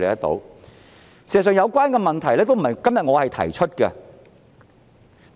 事實上，有關問題都不是我今天才提出的。